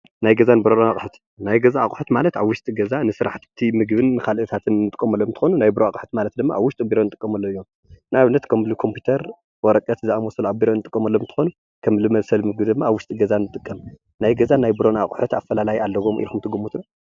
ናይ ገዛን ናይ ቢሮን ኣቁሑ ዝበሃሉ ኣብ ገዛ ንጥቀመሉ ንምግብነትን ካሊእን ዝውዕሉ ንጠቀመሉ ክኸውን ከሎ ናይ ቢሮ ድማ ቤት ፅሕፈት ንጥቀመሉ ከም ኮምፒተር ዝበሉ እዮም።